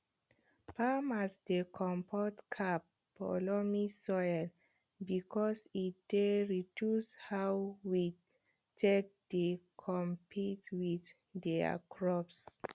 farmers dey comot cap for loamy soil because e dey reduce how weed take dey compete with dia crops